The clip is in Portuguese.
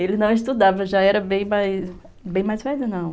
Ele não estudava, já era bem mais mais ... velho, não.